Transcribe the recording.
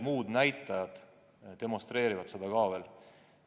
Seda demonstreerivad ka paljud muud näitajad.